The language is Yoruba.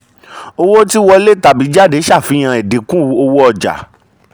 owó tí wọlé tàbí jáde ṣàfihàn ẹ̀dínkù owó ọja.